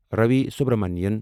Ravi Subramanian